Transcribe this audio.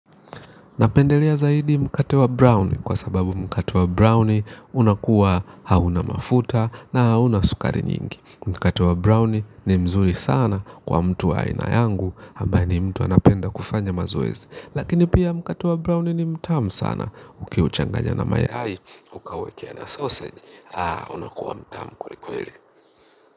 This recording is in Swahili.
Napendelea zaidi mkate wa brownie kwa sababu mkate wa brownie unakuwa hauna mafuta na hauna sukari nyingi. Mkate wa brownie ni mzuri sana kwa mtu wa aina yangu hambaye ni mtu anapenda kufanya mazoezi. Lakini pia mkate wa brownie ni mtamu sana. Uki uchanganya na mayai, ukauwekea na sausage, unakuwa mtamu kweli kweli.